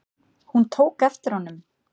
Hún tók eftir honum!